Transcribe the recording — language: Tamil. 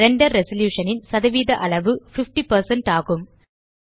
ரெண்டர் ரெசல்யூஷன் ன் சதவீத அளவு 50 ஆகும்